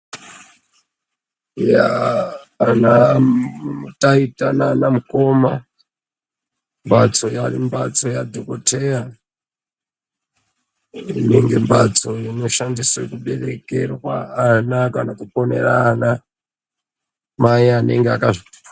Yaa anataita nanamukoma mbatso inyari mbatso yadhokoteya mbatso inoshandiswa kuberekerwa vana kakuponera vana mai vanenge vakazvitwara.